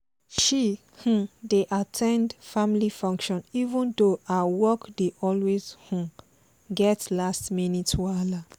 she um dey at ten d family function even though her work dey always um get last-minute whala